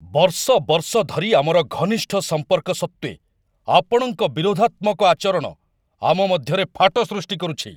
ବର୍ଷ ବର୍ଷ ଧରି ଆମର ଘନିଷ୍ଠ ସମ୍ପର୍କ ସତ୍ତ୍ୱେ ଆପଣଙ୍କ ବିରୋଧାତ୍ମକ ଆଚରଣ ଆମ ମଧ୍ୟରେ ଫାଟ ସୃଷ୍ଟି କରୁଛି।